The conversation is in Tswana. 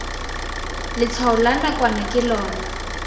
letshwao la nakwana ke lona